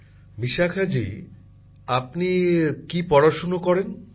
প্রধানমন্ত্রী জীঃ বিশাখাজী আপনি কী পড়াশুনা করেন